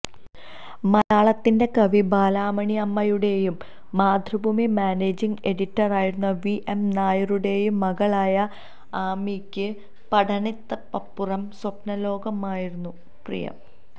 മലയാളത്തിന്റെ കവി ബാലാമണിയമ്മയുടെയും മാതൃഭൂമി മാനേജിംഗ് എഡിറ്ററായിരുന്ന വി എം നായരുടെയും മകളായ ആമിയ്ക്ക് പഠനത്തിനപ്പുറം സ്വപ്നലോകമായിരുന്നു പ്രിയം